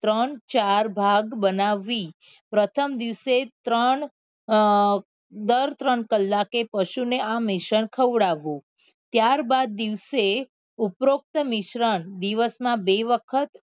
ત્રણ ચાર ભાગ બનાવવી પ્રથમ દિવસે ત્રણ અ દર ત્રણ કલાકે પશુ ને આ મિશ્રણ ખવડાવવું ત્યાર બાદ દિવસે ઉપરોક્ત મિશ્રણ દિવસ માં બે વખત